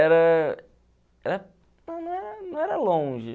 Era... era... Não era longe.